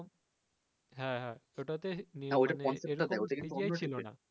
হা হা ওটাতে